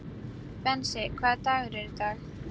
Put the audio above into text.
Bensi, hvaða dagur er í dag?